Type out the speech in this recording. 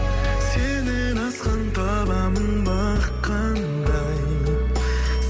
сенен асқан табамын бақ қандай